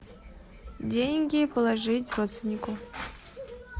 деньги положить родственнику